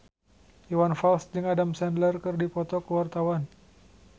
Iwan Fals jeung Adam Sandler keur dipoto ku wartawan